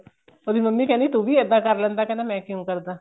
ਉਹਦੀ ਮੰਮੀ ਕਹਿੰਦੀ ਤੁਵੀ ਇਹਦਾ ਕਰ ਲੈਂਦਾ ਕਹਿੰਦਾ ਮੈਂ ਕਿਉਂ ਕਰਦਾ